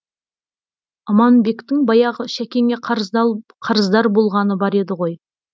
аманбектің баяғы шәкеңе қарыздар болғаны бар еді ғой